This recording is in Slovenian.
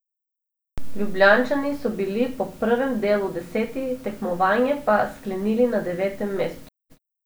Ljubljančani so bili po prvem delu deseti, tekmovanje pa sklenili na devetem mestu.